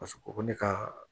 Paseke ko ne ka